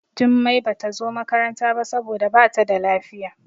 Jummai Bata zo makaranta ba saboda Bata da lafiya.